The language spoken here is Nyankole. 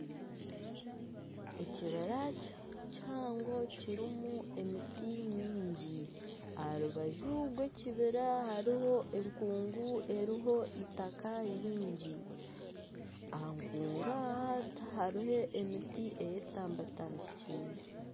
Ekibira kihango kirumu emiti nyingi, aha rubaju rw'ekibira hariho enkungu eriho eitaka ryingi . Aha nkungu aha hariho emiti eyetambatambikire.